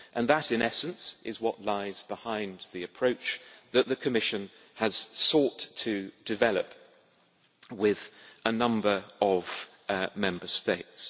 That in essence is what lies behind the approach that the Commission has sought to develop with a number of Member States.